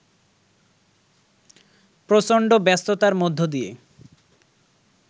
প্রচন্ড ব্যস্ততার মধ্য দিয়ে